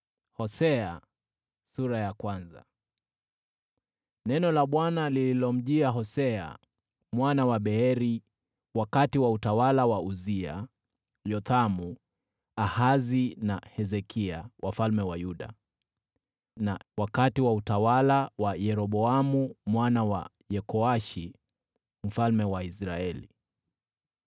Neno la Bwana lililomjia Hosea mwana wa Beeri wakati wa utawala wa Uzia, Yothamu, Ahazi na Hezekia, wafalme wa Yuda, na wakati wa utawala wa Yeroboamu mwana wa Yehoashi, mfalme wa Israeli.